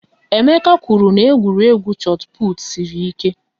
Emeka kwụrụ na egwuregwu chot put sịrị ike